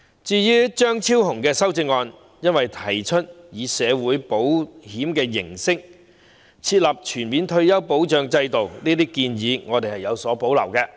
至於張超雄議員的修正案，由於他提出以社會保險形式設立全面退休保障制度，我們對這項建議有所保留，因此會投棄權票。